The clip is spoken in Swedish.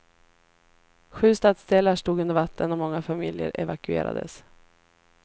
Sju stadsdelar stod under vatten och många familjer evakuerades.